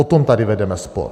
O tom tady vedeme spor.